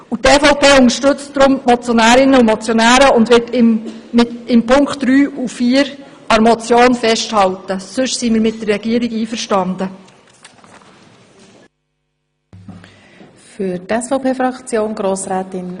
Die EVP unterstützt deshalb die Motionärinnen und Motionäre und möchte auch in den Punkten drei und vier an der Motion festhalten.